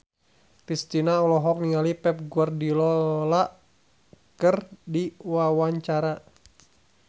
Kristina olohok ningali Pep Guardiola keur diwawancara